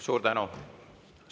Suur tänu!